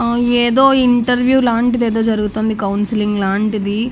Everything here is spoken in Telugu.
ఆ ఏదో ఇంటర్వ్యూ లాంటిది ఏదో జరుగుతుంది కౌన్సిలింగ్ లాంటిది.